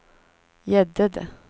Gäddede